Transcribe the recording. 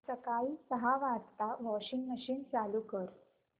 सकाळी सहा वाजता वॉशिंग मशीन चालू कर